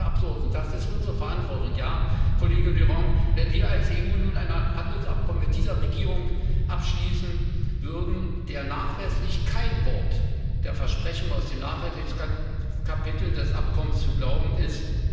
Es wäre absurd und ja, das ist unsere Verantwortung, Kollege Durand wenn wir als EU nun eine Art Handelsabkommen mit dieser Regierung abschließen würden, der nachweislich kein Wort ihrer Versprechungen aus dem Nachhaltigkeitskapitel des Abkommens zu glauben ist.